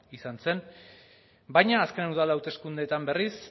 izan zen baina azken udal hauteskundeetan berriz